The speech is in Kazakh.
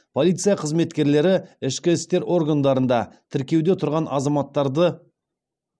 полиция қызметкерлері ішкі істер органдарында тіркеуде тұрған азаматтарды